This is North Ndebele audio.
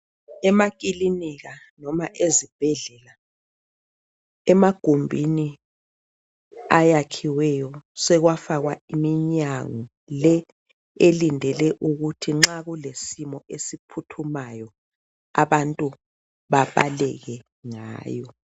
Emakilinika noma ezibhedlela emagumbini ayakhiweyo sekwafakwa iminyango le elindele ukuthi nxa kulesimo esiphuthumayo abantu babaleke ngayo.